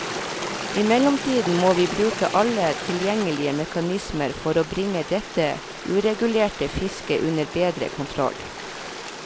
I mellomtiden må vi bruke alle tilgjengelige mekanismer for bringe dette uregulerte fisket under bedre kontroll.